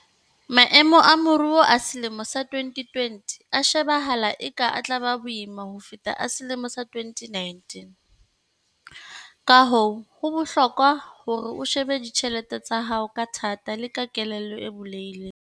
Maemo a moruo a selemo sa 2020 a shebahala eka a tla ba boima ho feta a selemo sa 2019, kahoo ho bohlokwa hore o shebe ditjhelete tsa hao ka thata le ka kelello e bulehileng.